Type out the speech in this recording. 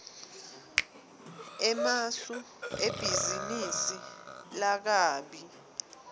emasu ebhizinisi lakabi